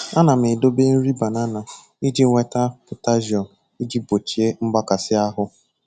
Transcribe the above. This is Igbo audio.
Ana m edobe nri banana iji nweta potajiụm iji gbochie mgbakasị ahụ.